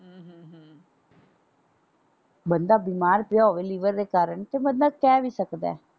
ਬੰਦਾ ਬਿਮਾਰ ਪਿਆ ਹੋਵੇ ਲੀਵਰ ਦੇ ਕਾਰਨ ਬੰਦਾ ਕਹਿ ਵੀ ਸਕਦਾ।